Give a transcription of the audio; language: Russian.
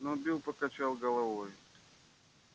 но билл покачал головой